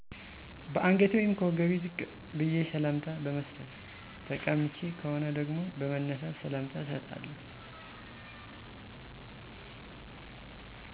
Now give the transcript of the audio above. ከአንገቴ ወይም ከወገቤ ዝቅ በዬ ሰላምታ በመስጠት። ተቀምጬ ከሆነ ደግሞ በመነሳት ሰላምታ እሰጣለሁ